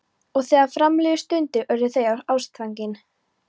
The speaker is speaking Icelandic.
Og þegar fram liðu stundir urðu þau ástfangin.